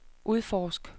udforsk